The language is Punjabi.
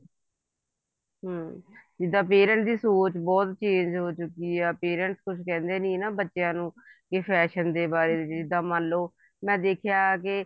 ਹਮ ਜਿੱਦਾਂ parents ਦੀ ਸੋਚ ਬਹੁਤ change ਹੋ ਚੁੱਕੀ ਆ parents ਕੁੱਝ ਕਹਿੰਦੇ ਨੀ ਨਾ ਬੱਚਿਆਂ ਨੂੰ ਜੇ fashion ਦੇ ਬਾਰੇ ਜਿੱਦਾਂ ਮੰਨਲੋ ਮੈਂ ਦੇਖਿਆ ਕੇ